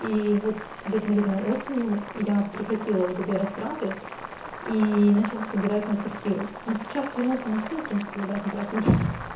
и вот где-то наверное осенью я прекратила вот это и растраты и начала собирать на квартиру но сейчас вернулся максим а принципе и обратно тратим деньги